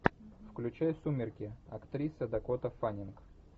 включай сумерки актриса дакота фаннинг